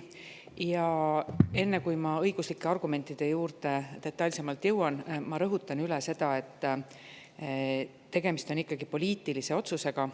Enne, kui ma jõuan detailsemalt õiguslike argumentide juurde, rõhutan üle, et tegemist on ikkagi poliitilise otsusega